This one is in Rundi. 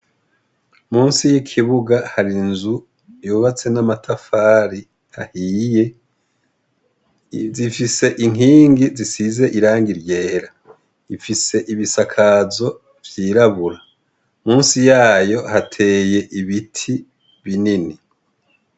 Musi yikibuga hari inzu yubatswe namatafari ahiye zifise inkingi zisize irangi ryera ifise ibisakazo vyirabura musi yaho hateye ibiti binini